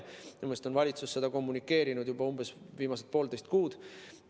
Minu meelest on valitsus seda kommunikeerinud juba umbes viimased poolteist kuud.